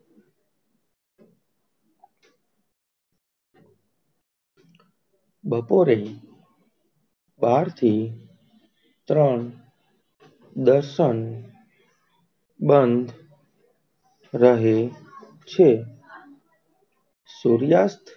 બપોરે બાર થી ત્રણ દર્શન બંધ રહે છે સૂર્યાસ્ત,